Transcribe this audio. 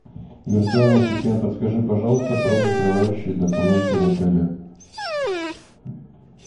виртуальный ассистент подскажи пожалуйста про закрывающие документы в отеле